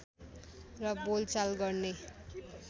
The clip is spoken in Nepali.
र बोलचाल गर्ने